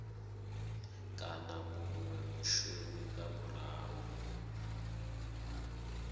kana munwe mushumi nga murahu